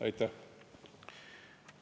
Aitäh!